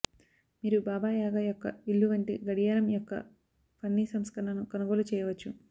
మీరు Baba Yaga యొక్క ఇల్లు వంటి గడియారం యొక్క ఫన్నీ సంస్కరణను కొనుగోలు చేయవచ్చు